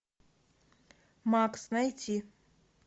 макс найти